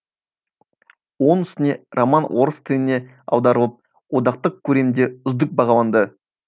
оның үстіне роман орыс тіліне аударылып одақтық көлемде үздік бағаланды